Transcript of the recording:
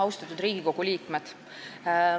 Austatud Riigikogu liikmed!